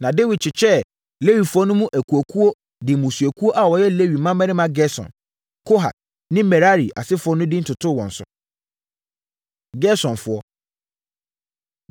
Na Dawid kyekyɛɛ Lewifoɔ no mu akuakuo de mmusuakuo a wɔyɛ Lewi mmammarima Gerson, Kohat ne Merari asefoɔ no din totoo wɔn so. Gersonfoɔ